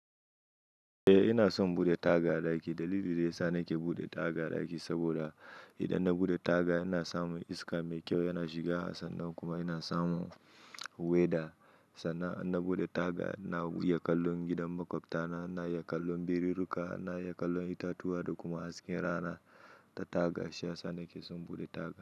Eh ina son bude taga a ɗaki. Dalilin da ya sa nake bude taga a ɗaki saboda idan na bude taga ina sa mun iska mai kyau, yana shiga sannan kuma yana sa mun weda. Sannan in na bude taga, na iya kallon gidan maƙwabta, na iya kallon birirruka, na iya kallon itatuwa da kuma hasken rana ta taga. Shi ya sa nake son bude taga.